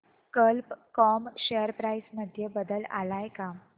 कल्प com share price मध्ये बदल आलाय का